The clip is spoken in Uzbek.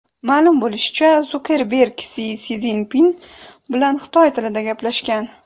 Ma’lum bo‘lishicha, Sukerberg Si Szinpin bilan xitoy tilida gaplashgan.